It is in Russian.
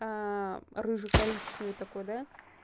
рыже-коричневый такой да